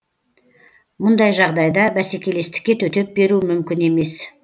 мұндай жағдайда бәсекелестікке төтеп беру мүмкін емес